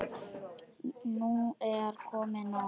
Nú er komið nóg!